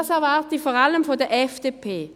Das erwarte ich vor allem von der FDP.